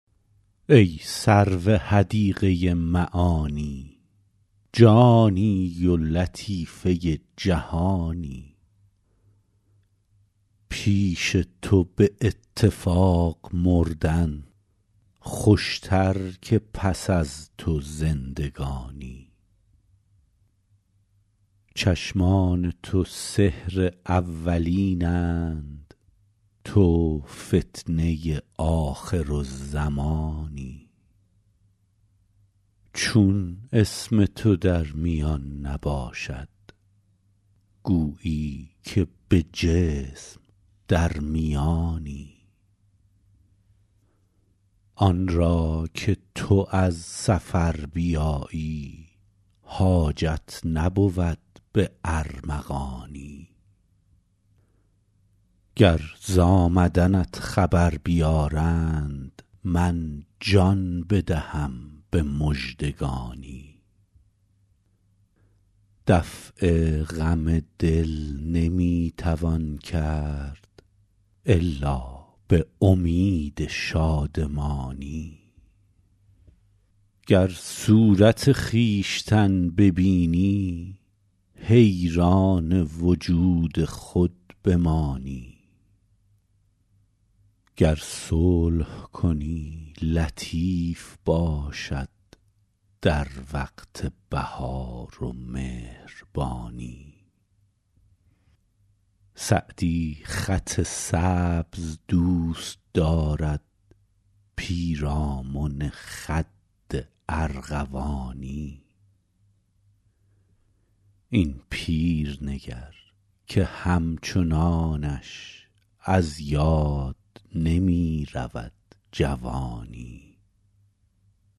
ای سرو حدیقه معانی جانی و لطیفه جهانی پیش تو به اتفاق مردن خوشتر که پس از تو زندگانی چشمان تو سحر اولین اند تو فتنه آخرالزمانی چون اسم تو در میان نباشد گویی که به جسم در میانی آن را که تو از سفر بیایی حاجت نبود به ارمغانی گر ز آمدنت خبر بیارند من جان بدهم به مژدگانی دفع غم دل نمی توان کرد الا به امید شادمانی گر صورت خویشتن ببینی حیران وجود خود بمانی گر صلح کنی لطیف باشد در وقت بهار و مهربانی سعدی خط سبز دوست دارد پیرامن خد ارغوانی این پیر نگر که همچنانش از یاد نمی رود جوانی